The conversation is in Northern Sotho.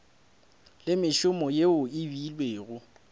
le mešomo yeo e beilwego